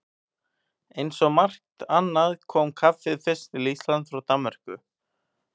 Eins og margt annað kom kaffið fyrst til Íslands frá Danmörku.